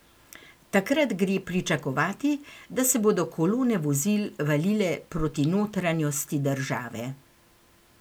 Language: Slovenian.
Takrat gre pričakovati, da se bodo kolone vozil valile proti notranjosti države.